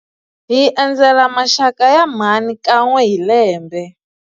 Hi endzela maxaka ya mhani kan'we hi lembe.